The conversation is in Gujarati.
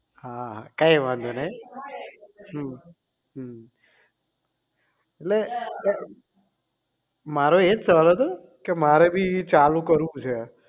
હા કઈ વાંધો નહીં હમ હમ એટલે એમ મારો એજ સવાલ હતો કે મારે બી ચાલુ કરવું છે